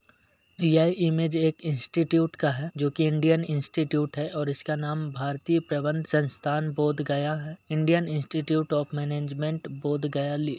यह इमेज एक इंस्टिट्यूट का है जो की इंडियन इंस्टिट्यूट है और इसका नाम भारतीय प्रबंध संस्थान बोध गया है Indian institute of management Bodh Gaya लि--